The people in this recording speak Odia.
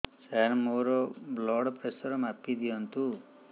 ସାର ମୋର ବ୍ଲଡ଼ ପ୍ରେସର ମାପି ଦିଅନ୍ତୁ